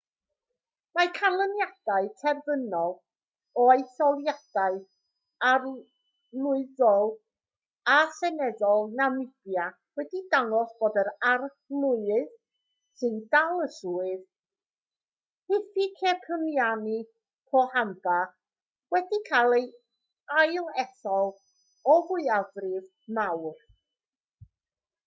mae canlyniadau terfynol o etholiadau arlywyddol a seneddol namibia wedi dangos bod yr arlywydd sy'n dal y swydd hifikepunye pohamba wedi cael ei ailethol o fwyafrif mawr